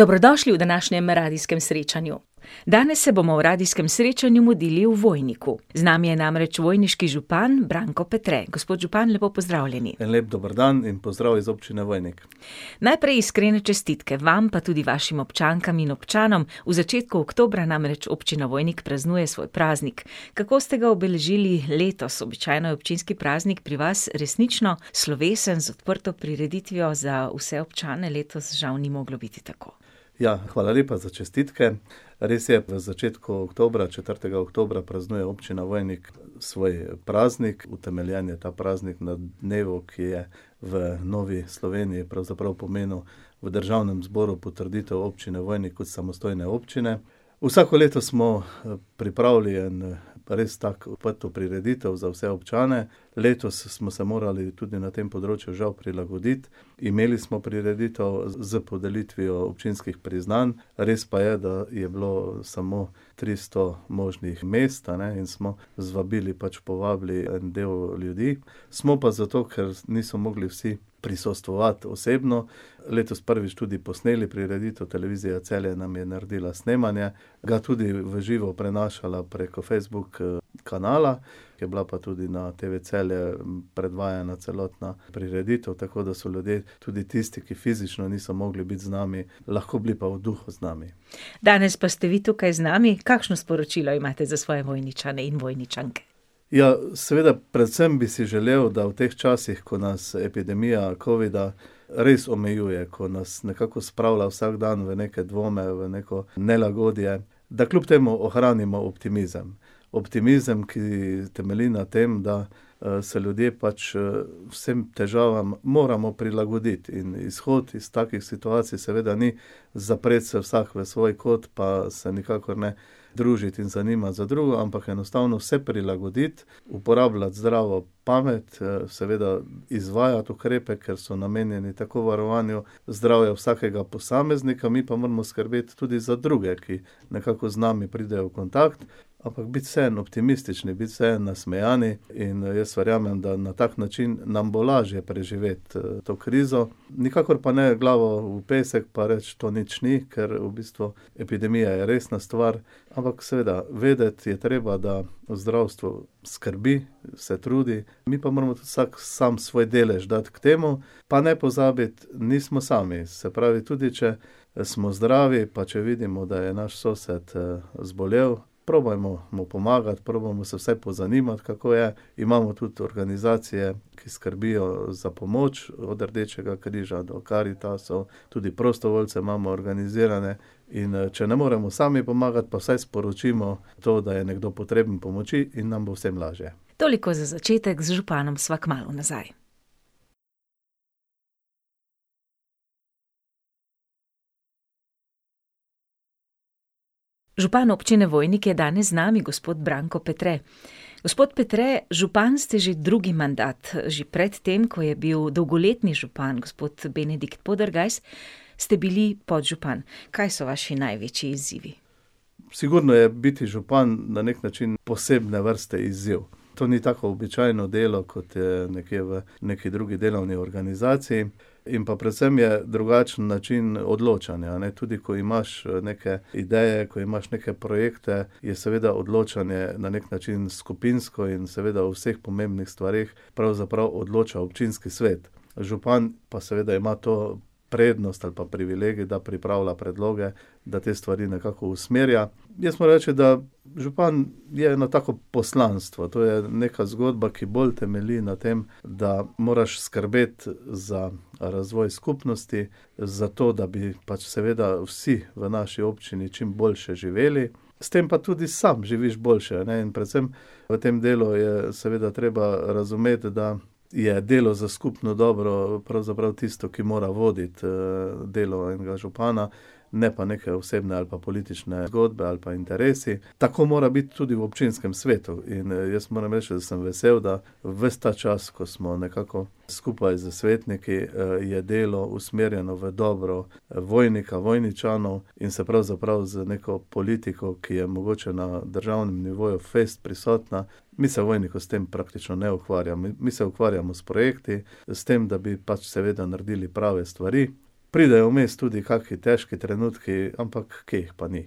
Dobrodošli v današnjem radijskem srečanju. Danes se bomo v radijskem srečanju mudili v Vojniku. Z nami je namreč vojniški župan, Branko Petre. Gospod župan, lepo pozdravljeni. En lep dober dan in pozdrav iz občine Vojnik. Najprej iskrene čestitke vam, pa tudi vašim občankam in občanom. V začetku oktobra namreč občina Vojnik praznuje svoj praznik. Kako ste ga obeležili letos? Običajno je občinski praznik pri vas resnično slovesen, z odprto prireditvijo za vse občane, letos žal ni moglo biti tako. Ja, hvala lepa za čestitke. Res je, na začetku oktobra, četrtega oktobra, praznuje občina Vojnik svoj praznik, utemeljen je ta praznik na dnevu, ki je v novi Sloveniji pravzaprav pomenil v državnem zboru potrditev občine Vojnik kot samostojne občine. Vsako leto smo, pripravili eno res tako odprto prireditev za vse občane, letos smo se morali tudi na tem področju žal prilagoditi, imeli smo prireditev s podelitvijo občinskih priznanj, res pa je, da je bilo samo tristo možnih mest, a ne, in smo z vabili, pač povabili, del ljudi, smo pa zato, ker niso mogli vsi prisostvovati osebno, letos prvič tudi posneli prireditev, Televizija Celje nam je naredila snemanje, ga tudi v živo prenašala preko Facebook, kanala, je bila pa tudi na TV Celje predvajana celotna prireditev, tako da so ljudje, tudi tisti, ki fizično niso mogli biti z nami, lahko bili pa v duhu z nami. Danes pa ste vi tukaj z nami. Kakšno sporočilo imate za svoje Vojničane in Vojničanke? Ja, seveda, predvsem bi si želel, da v teh časih, ko nas epidemija covida res omejuje, ko nas nekako spravlja vsak dan v neke dvome, v neko nelagodje, da kljub temu ohranimo optimizem. Optimizem, ki temelji na tem, da, se ljudje pač, vsem težavam moramo prilagoditi in izhod iz takih situacij seveda ni zapreti se vsak v svoj kot pa se nikakor ne družiti in zanimati za drugo, ampak enostavno se prilagoditi, uporabljati zdravo pamet, seveda izvajati ukrepe, ker so namenjeni tako varovanju zdravja vsakega posameznika, mi pa moramo skrbeti tudi za druge, ki nekako z nami pridejo v kontakt, ampak biti vseeno optimistični, biti vseeno nasmejani in jaz verjamem, da na tak način nam bo lažje preživeti to krizo. Nikakor pa ne glavo v pesek pa reči, to nič ni, ker v bistvu epidemija je resna stvar. Ampak, seveda, vedeti je treba, da zdravstvo skrbi, se trudi, mi pa moramo tudi vsak sam svoj delež dati k temu, pa ne pozabiti, nismo sami. Se pravi, tudi če, smo zdravi, pa če vidimo, da je naš sosed, zbolel, probajmo mu pomagati, probajmo se vsaj pozanimati, kako je, imamo tudi organizacije, ki skrbijo za pomoč, od Rdečega križa do Karitasov, tudi prostovoljce imamo organizirane. In, če ne moremo sami pomagati, pa vsaj sporočimo to, da je nekdo potreben pomoči, in nam bo vsem lažje. Toliko za začetek, z županom sva kmalu nazaj. Župan Občine Vojnik je danes z nami, gospod Branko Petre. Gospod Petre, župan ste že drugi mandat, že pred tem, ko je bil dolgoletni župan, gospod Benedikt Podergajs, ste bili podžupan. Kaj so vaši največji izzivi? Sigurno je biti župan na neki način posebne vrste izziv. To ni tako običajno delo, kot je nekje v neki drugi delovni organizaciji. In pa predvsem je drugačen način odločanja, a ne, tudi ko imaš, neke ideje, ko imaš neke projekte, je seveda odločanje na neki način skupinsko in seveda o vseh pomembnih stvareh pravzaprav odloča občinski svet. Župan pa seveda ima to prednost ali pa privilegij, da pripravlja predloge, da te stvari nekako usmerja, jaz moram reči, da župan je eno tako poslanstvo, to je neka zgodba, ki bolj temelji na tem, da moraš skrbeti za, razvoj skupnosti, za to, da bi pač seveda vsi v naši občini čim boljše živeli, s tem pa tudi sam živiš boljše, a ne, in predvsem v tem delu je seveda treba razumeti, da je delo za skupno dobro pravzaprav tisto, ki mora voditi, delo enega župana, ne pa neke osebne ali pa politične zgodbe ali pa interesi. Tako mora biti tudi v občinskem svetu in, jaz moram reči, sem vesel, da ves ta čas, ko smo nekako skupaj s svetniki, je delo usmerjeno v dobro Vojnika, Vojničanov in se pravzaprav z neko politiko, ki je mogoče na državnem nivoju fejst prisotna, mi se v Vojniku s tem praktično ne ukvarjamo, mi se ukvarjamo s projekti, s tem, da bi pač seveda naredili prave stvari. Pridejo vmes tudi kakšen težki trenutki, ampak kje jih pa ni.